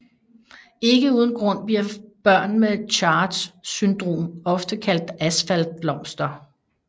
Ikke uden grund bliver børn med CHARGE syndrom ofte kaldt asfaltblomster